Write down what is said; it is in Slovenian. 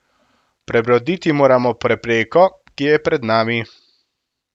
Prebroditi moramo prepreko, ki je pred nami.